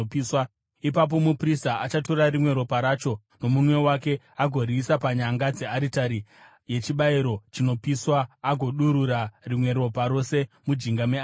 Ipapo muprista achatora rimwe ropa racho nomunwe wake agoriisa panyanga dzearitari yechibayiro chinopiswa agodurura rimwe ropa rose mujinga mearitari.